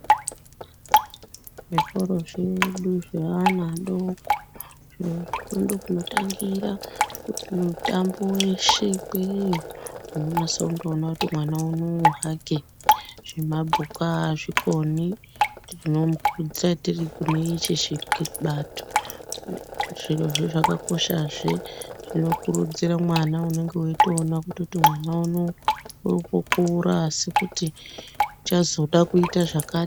Zvikoro zvedu zveana adoko zvirozvo ndokunotangira kuti mitambo weshe ikweyo, unonasa kundoona kuti mwana unowu hake zvemabhuku aazvikoni tinomukurudzira tiri kune ichi chibato. Zviro zvo zvakakosha zve zvinokurudzira mwana unenge weitoona mwana unowu uri kukura asi uchazoda kuita zvakati.